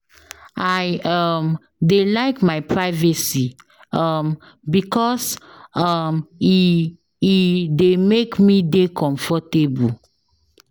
I ehm dey like my privacy ehm because ehm e dey make me dey comfortable.